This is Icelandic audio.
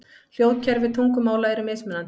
Hljóðkerfi tungumála eru mismunandi.